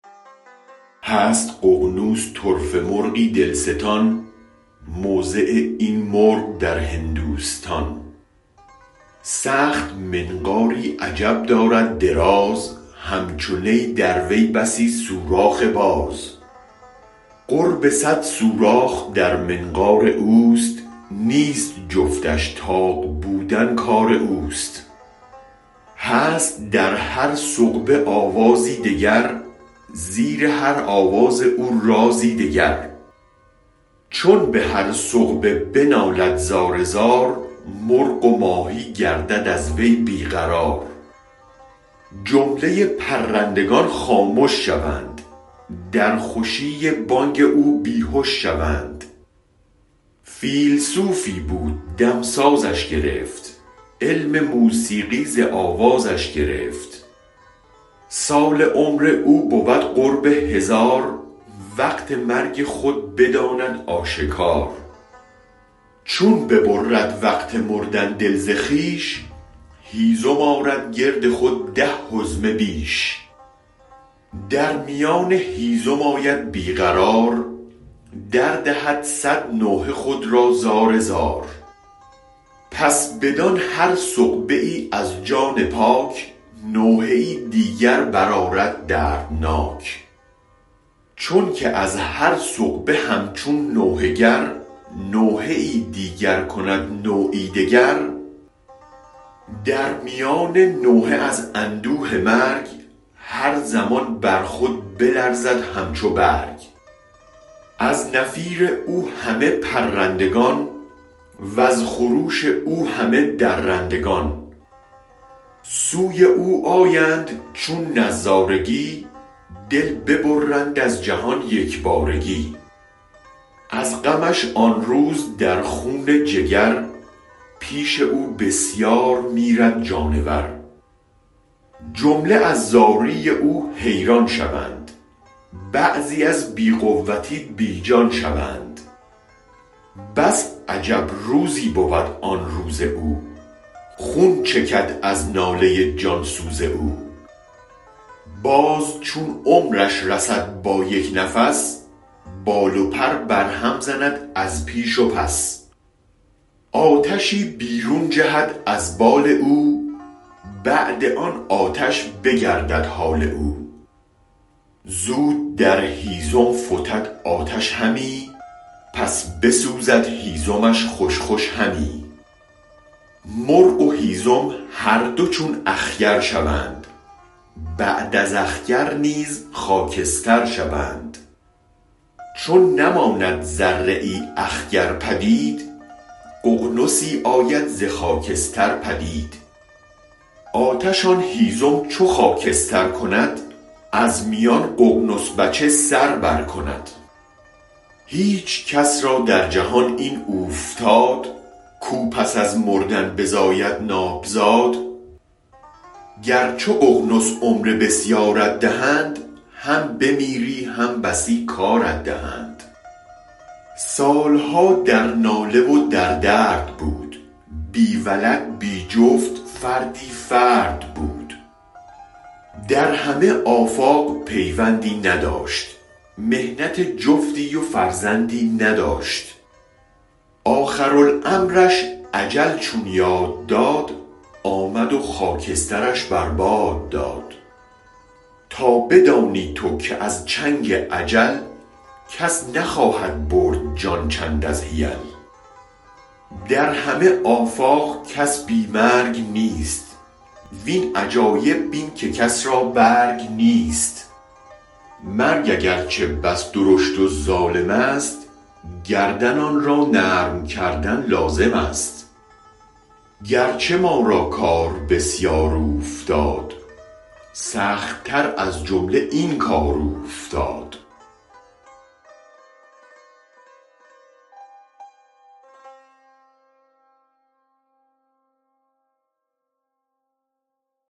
هست ققنس طرفه مرغی دلستان موضع این مرغ در هندوستان سخت منقاری عجب دارد دراز همچو نی در وی بسی سوراخ باز قرب صد سوراخ در منقار اوست نیست جفتش طاق بودن کار اوست هست در هر ثقبه آوازی دگر زیر هر آواز او رازی دگر چون به هر ثقبه بنالد زار زار مرغ و ماهی گردد از وی بی قرار جمله پرندگان خامش شوند در خوشی بانگ او بی هش شوند فیلسوفی بود دمسازش گرفت علم موسیقی ز آوازش گرفت سال عمر او بود قرب هزار وقت مرگ خود بداند آشکار چون ببرد وقت مردن دل ز خویش هیزم آرد گرد خود ده حزمه بیش در میان هیزم آید بی قرار دردهد صد نوحه خود را زار زار پس بدان هر ثقبه ای از جان پاک نوحه ای دیگر برآرد دردناک چون که از هر ثقبه همچون نوحه گر نوحه دیگر کند نوعی دگر در میان نوحه از اندوه مرگ هر زمان بر خود بلرزد همچو برگ از نفیر او همه پرندگان وز خروش او همه درندگان سوی او آیند چون نظارگی دل ببرند از جهان یک بارگی از غمش آن روز در خون جگر پیش او بسیار میرد جانور جمله از زاری او حیران شوند بعضی از بی قوتی بی جان شوند بس عجب روزی بود آن روز او خون چکد از ناله جان سوز او باز چون عمرش رسد با یک نفس بال و پر برهم زند از پیش و پس آتشی بیرون جهد از بال او بعد آن آتش بگردد حال او زود در هیزم فتد آتش همی پس بسوزد هیزمش خوش خوش همی مرغ و هیزم هر دو چون اخگر شوند بعد از اخگر نیز خاکستر شوند چون نماند ذره ای اخگر پدید ققنسی آید ز خاکستر پدید آتش آن هیزم چو خاکستر کند از میان ققنس بچه سر برکند هیچ کس را در جهان این اوفتاد کو پس از مردن بزاید نابزاد گر چو ققنس عمر بسیارت دهند هم بمیری هم بسی کارت دهند سال ها در ناله و در درد بود بی ولد بی جفت فردی فرد بود در همه آفاق پیوندی نداشت محنت جفتی و فرزندی نداشت آخرالامرش اجل چون یاد داد آمد و خاکسترش بر باد داد تا بدانی تو که از چنگ اجل کس نخواهد برد جان چند از حیل در همه آفاق کس بی مرگ نیست وین عجایب بین که کس را برگ نیست مرگ اگرچه بس درشت و ظالم است گردن آن را نرم کردن لازم است گرچه ما را کار بسیار اوفتاد سخت تر از جمله این کار اوفتاد